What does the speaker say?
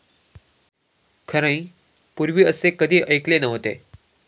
खरंय, पुर्वी असं कधी ऐकले नव्हते.